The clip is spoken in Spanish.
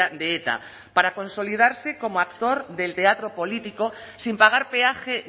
de eta para consolidarse como actor del teatro político sin pagar peaje